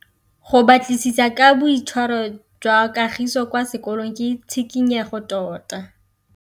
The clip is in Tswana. Go batlisisa ka boitshwaro jwa Kagiso kwa sekolong ke tshikinyêgô tota.